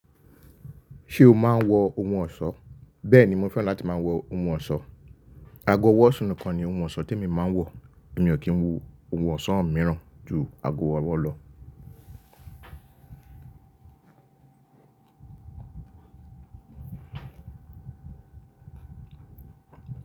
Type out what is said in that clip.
Ṣé o máa ń wọ ohun ọ̀ṣọ́? Bẹ́ẹ̀ni mo fẹ́ràn láti máa wọ ohun ọ̀ṣọ́. Àgọ̀ ọwọ́ sini kan ni ohun ọ̀ṣọ́ tí e mi máa ń wọ̀. Mi ò kí ń wọ ohun ọ̀ṣọ́ míràn ju àgọ̀ ọwọ́ lọ.